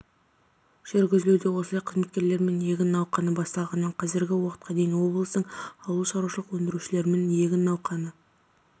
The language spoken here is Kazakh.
жүргізілуде осылай қызметкерлерімен егін науқаны басталғанынан қазіргі уақытқа дейін облыстың ауыл шарушылық өңдірушілерімен егін науқаны